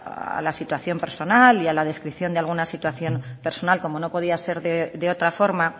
a la situación personal y a la descripción de algunas situación personal como no podía ser de otra forma